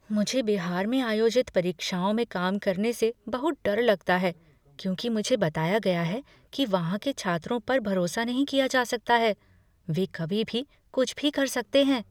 मुझे बिहार में आयोजित परीक्षाओं में काम करने से बहुत डर लगता है क्योंकि मुझे बताया गया है कि वहाँ के छात्रों पर भरोसा नहीं किया जा सकता है, वे कभी भी कुछ भी कर सकते हैं।